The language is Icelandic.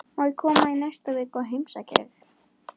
Má ég koma í næstu viku og heimsækja þig?